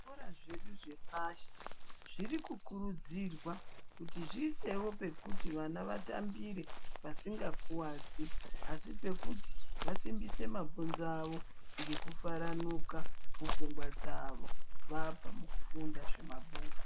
Zvikora zvedu zvepashi zviri kukurudzirwa kuti zviisewo pekuti vana vatambire pasingakuwadzi asi pekuti vasimbise mabhonzo avo ngekufaranuka mupfungwa dzawo vabva mukufunda zvemabhuku.